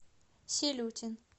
силютин